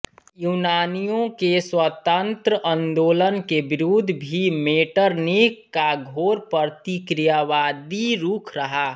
यूनानियों के स्वातन्त्र आन्दोलन के विरुद्ध भी मेटरनिख का घोर प्रतिक्रियावादी रूख रहा